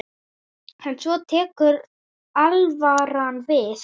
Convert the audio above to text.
En svo tekur alvaran við.